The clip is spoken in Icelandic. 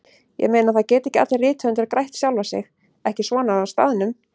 Ég meina, það geta ekki allir rithöfundar grætt sjálfa sig, ekki svona á staðnum.